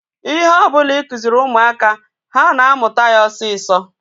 Ihe ọbụla ịkụziri ụmụaka, ha na-amụta ya osisọ